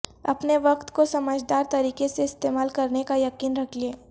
اپنے وقت کو سمجھدار طریقے سے استعمال کرنے کا یقین رکھیں